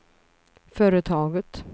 företaget